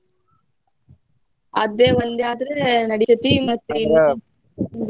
ಅದೇ ಒಂದೇ ಆದ್ರೆ ನಡಿತೈತಿ ಮತ್ತೆ.